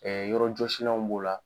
yɔrɔ jɔsilanw b'o la.